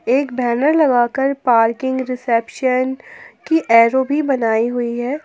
एक बैनर लगाकर parking reception की एरो भी बनाई हुई है।